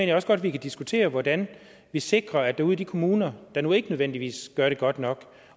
jeg også godt vi kan diskutere hvordan vi sikrer at der ude i de kommuner der nu ikke nødvendigvis gør det godt nok